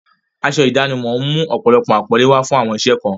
Aṣọ ìdánimọ̀ ń mú ọ̀pọ̀lọpọ̀ àpọ́nlé wá fún àwọn iṣẹ́ kan.